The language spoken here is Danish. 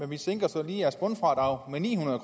vi sænker så lige jeres bundfradrag med ni hundrede